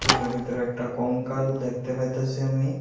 এটার ভেতরে একটা কঙ্কাল দেখতে পাইতাসি আমি।